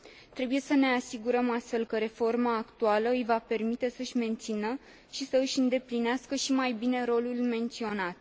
Trebuie să ne asigurăm, astfel, că reforma actuală îi va permite să își mențină și să își îndeplinească și mai bine rolul menționat.